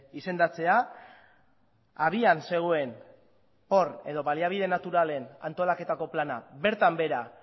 izendatzea abian zegoen edo baliabide naturalen antolaketako plana bertan behera